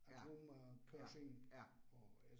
Ja. Ja, ja